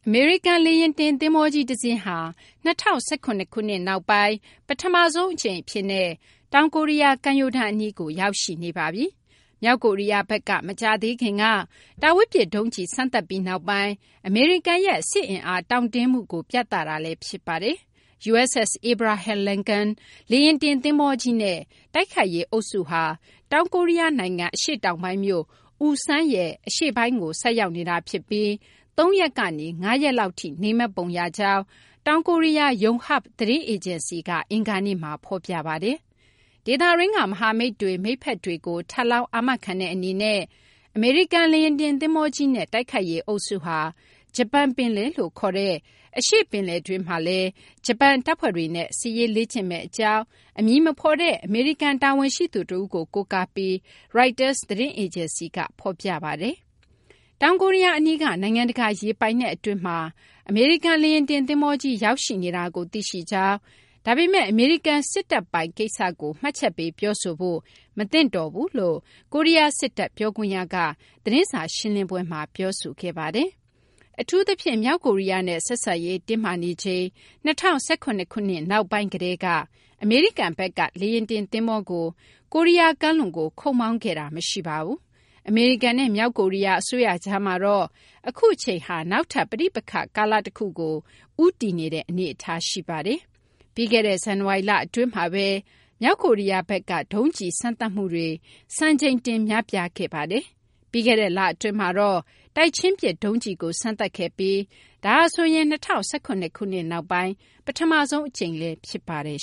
အမေရိကန် လေယာဉ်တင် သဘောၤကြီး တစင်းဟာ ၂၀၁၇ ခုနှစ် နောက်ပိုင်း ပထမဆုံး အကြိမ် အဖြစ်နဲ့ တောင်ကိုရီးယား ကမ်းရိုးတန်း အနီးကို ရောက်ရှိနေပါပြီ။ မြောက်ကိုရီးယားဘက်က မကြာသေးခင်က တာဝေးပစ် ဒုံးကျည် စမ်းသပ်ပြီးနောက်ပိုင်း အမေရိကန်ရဲ့ စစ်အင်အား တောင့်တင်းမှုကို ပြသမှုလည်း ဖြစ်ပါတယ်။ USS Abraham Lincoln လေယာဉ်တင် သဘောၤကြီးနဲ့ တိုက်ခိုက်ရေး အုပ်စုဟာ တောင်ကိုရီးယား နိုင်ငံ အရှေ့တောင်ပိုင်းမြို့ Ulsan ရဲ့ အရှေ့ပိုင်းကို ဆိုက်ရောက်နေတာ ဖြစ်ပြီး ၃ ရက်ကနေ ၅ ရက်လောက်ထိ နေမယ့်ပုံ ရကြောင်း တောင်ကိုရီးယား Yonhap သတင်းအေဂျင်စီက အင်္ဂါနေ့မှာ ဖော်ပြပါတယ်။ ဒေသတွင်းက မဟာမိတ်တွေ၊ မိတ်ဖက်တွေကို ထပ်လောင်း အာမခံတဲ့ အနေနဲ့ အမေရိကန် လေယာဉ်တင် သဘောၤကြီးနဲ့ တိုက်ခိုက်ရေး အုပ်စုဟာ ဂျပန် ပင်လယ်လို့ ခေါ်တဲ့ အရှေ့ပင်လယ်တွင်းမှာလည်း ဂျပန် တပ်ဖွဲ့တွေနဲ့ စစ်ရေး လေ့ကျင့်မယ့် အကြောင်း အမည်မဖော်တဲ့ အမေရိကန် တာဝန်ရှိသူ တဦးကို ကိုးကားပြီး ရိုက်တာ သတင်းအေဂျင်စီကလည်း ဖော်ပြပါတယ်။ တောင်ကိုရီးယား အနီးက နိုင်ငံတကာ ရေပိုင်နက် အတွင်းမှာ အမေရိကန် လေယာဉ်တင် သဘောၤကြီး ရောက်ရှိနေတာကို သိရှိကြောင်း၊ ဒါပေမယ့် အမေရိကန် စစ်တပ်ပိုင် ကိစ္စကို မှတ်ချက်ပေး ပြောဆိုဖို့ မသင့်တော်ဘူးလို့ တောင်ကိုရီးယား စစ်တပ် ပြောခွင့်ရက သတင်းစာ ရှင်းလင်းပွဲမှာ ပြောပါတယ်။ အထူးသဖြင့် မြောက်ကိုရီးယားနဲ့ ဆက်ဆံရေး တင်းမာနေချိန် ၂၀၁၇ ခုနှစ် နှောင်းပိုင်း ကတည်းက အမေရိကန်ဘက်က လေယာဉ်တင် သဘောၤကို ကိုရီးယား ကမ်းလွန်ကို ခုတ်မောင်းခဲ့တာ မရှိပါဘူး။ အမေရိကန်နဲ့ မြောက်ကိုရီးယား အစိုးရကြားမှာတော့ အခုအချိန်ဟာ နောက်ထပ် ပဋိပက္ခ ကာလ တခုကို ဦးတည်နေတဲ့ အနေအထား ရှိနေပါတယ်။ ပြီးခဲ့ဲ့တဲ့ ဇန်နဝါရီလ အတွင်းမှာဘဲ မြောက်ကိုရီးယားဘက်က ဒုံးကျည် စမ်းသပ်မှုတွေ စံချိန်တင် များပြားခဲ့ပါတယ်။ ပြီးခဲ့တဲ့ လအတွင်းမှာတော့ တိုက်ချင်းပစ် ဒုံးကျည်ကို စမ်းသပ်ခဲ့ပြီး ဒါဟာဆိုရင် ၂၀၁၇ ခုနှစ် နောက်ပိုင်း ပထမဆုံး အကြိမ်လည်း ဖြစ်ပါတယ်